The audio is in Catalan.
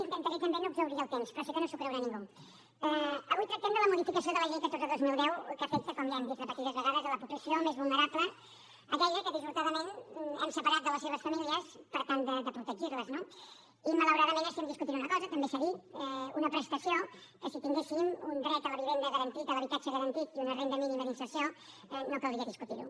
intentaré també no exhaurir el temps però sé que no s’ho creurà ningú avui tractem de la modificació de la llei catorze dos mil deu que afecta com ja hem dit repetides vegades la població més vulnerable aquella que dissortadament hem separat de les seves famílies per tal de protegir les no i malauradament estem discutint una cosa també s’ha dit una prestació que si tinguéssim un dret a la vivenda garantit a l’habitatge garantit i una renda mínima d’inserció no caldria discutir ho